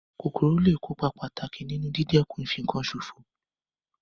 Kòkòrò lé è kópa pàtàkì nínu dídẹ̀kun ìfinkan sòfò